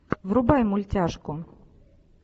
врубай мультяшку